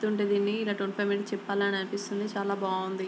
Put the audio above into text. చెప్తుంటే దీన్ని ఇలా మినిట్స్ చెప్పాలి అనిపిస్తుంది చాలా బాగుంది.